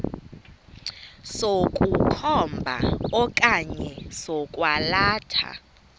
sokukhomba okanye sokwalatha